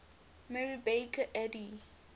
mary baker eddy